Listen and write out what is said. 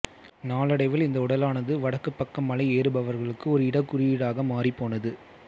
நாளடைவில் இந்த உடலானது வடக்குப் பக்கம் மலையேறுபவர்களுக்கு ஒரு இடக்குறியீடாக மாறிப்போனது